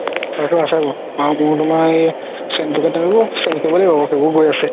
সেইবোৰ গৈ আছে